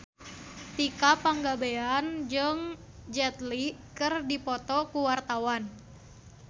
Tika Pangabean jeung Jet Li keur dipoto ku wartawan